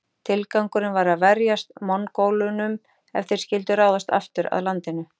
Tilgangurinn var að verjast Mongólunum ef þeir skyldu ráðast aftur að landinu.